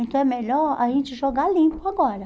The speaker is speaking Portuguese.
Então é melhor a gente jogar limpo agora.